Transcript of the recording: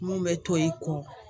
Mun bɛ to i kɔ